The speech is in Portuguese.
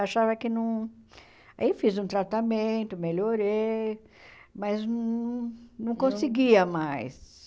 Achava que não... Aí, fiz um tratamento, melhorei, mas não não conseguia mais.